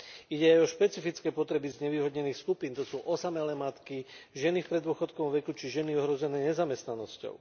Ide aj o špecifické potreby znevýhodnených skupín, to sú osamelé matky, ženy v preddôchodkovom veku či ženy ohrozené nezamestnanosťou.